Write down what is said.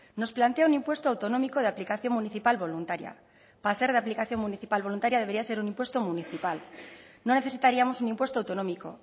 nos plantea un impuesto autonómico de aplicación municipal voluntaria para ser de aplicación municipal voluntaria debería ser un impuesto municipal no necesitaríamos un impuesto autonómico